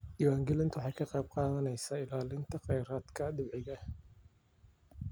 Diiwaangelintu waxay ka qayb qaadanaysaa ilaalinta khayraadka dabiiciga ah.